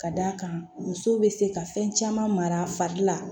Ka d'a kan muso bɛ se ka fɛn caman mara a fari la